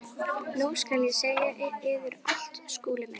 Nú skal ég segja yður allt, Skúli minn.